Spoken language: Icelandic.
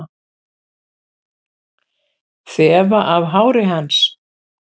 Þefa af hári hans.